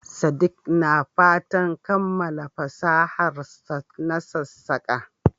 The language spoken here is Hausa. Sadik na fatan kammala fasaharsa na sassaƙa.